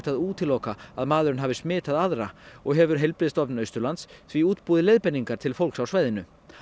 að útiloka að maðurinn hafi smitað aðra og hefur Heilbrigðistofnun Austurlands því útbúið leiðbeiningar til fólks á svæðinu